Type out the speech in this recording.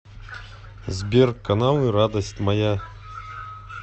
сбер каналы радость моя